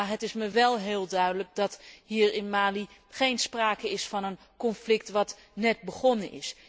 Maar het is mij wel heel duidelijk dat hier in Mali geen sprake is van een conflict dat net is begonnen.